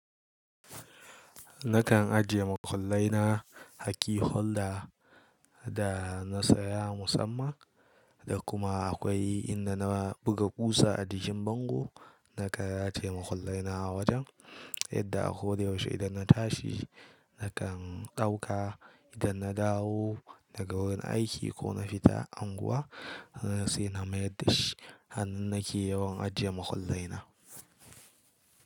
Nakan ajiye makullai na hakki holda da na saya musamman, da kuma akwai inda na buga kusa a gishin bango. Nakan rataye makullai na a wajen, yadda a ko da yaushe idan na tashi nakan ɗauka. Idan na dawo daga wurin aiki ko na fita anguwa, na sai na mayar dashi. Hannun nake yawan ajiye makullai na.